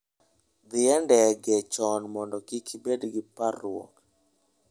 Dhi e ndege chon mondo kik ibed gi parruok.